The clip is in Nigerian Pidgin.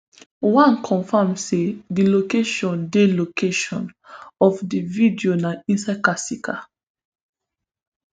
one confam say di location di location of di video na inside kasika